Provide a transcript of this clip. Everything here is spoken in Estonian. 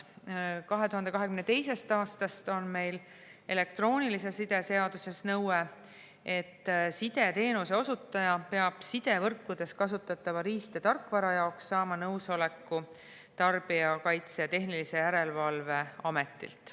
2022. aastast on meil elektroonilise side seaduses nõue, et sideteenuse osutaja peab sidevõrkudes kasutatava riist- ja tarkvara jaoks saama nõusoleku Tarbijakaitse ja Tehnilise Järelevalve Ametilt.